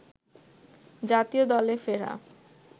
জাতীয় দলে ফেরা